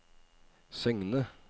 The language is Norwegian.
Søgne